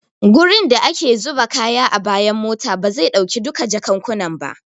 Gurin da ake zuba kaya a bayan mota bazai dauki duka jakukkunan ba.